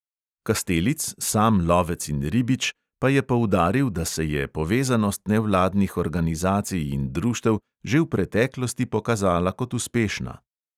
Kastelic, sam lovec in ribič, pa je poudaril, da se je povezanost nevladnih organizacij in društev že v preteklosti pokazala kot uspešna.